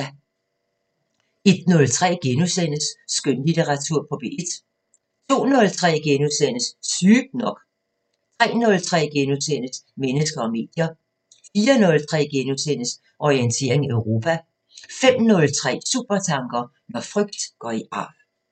01:03: Skønlitteratur på P1 * 02:03: Sygt nok * 03:03: Mennesker og medier * 04:03: Orientering Europa * 05:03: Supertanker: Når frygt går i arv